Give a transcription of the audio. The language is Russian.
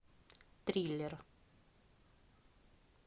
триллер